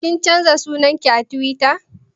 Kin canza sunan ki a Tiwita?